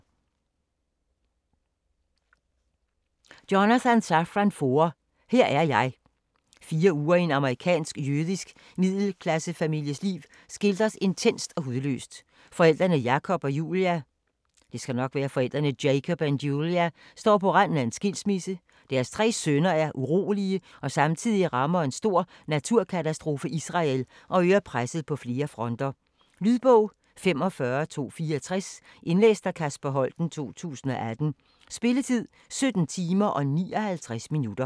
Foer, Jonathan Safran: Her er jeg Fire uger i en amerikansk-jødisk middelklassefamilies liv skildres intenst og hudløst. Forældrene Jacob og Julia står på randen af skilsmisse, deres tre sønner er urolige og samtidig rammer en stor naturkatastrofe Israel og øger presset på flere fronter. Lydbog 45264 Indlæst af Kasper Holten, 2018. Spilletid: 17 timer, 59 minutter.